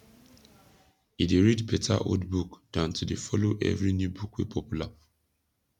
e dey read beta old book dan to dey follow evry new book wey popular